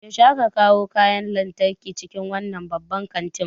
Yaushe aka kawo kayan lantarki cikin wannan babban kantin?